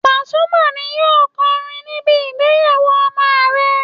Pasuma ni yóò kọrin níbi ìgbéyàwó ọmọ àrẹ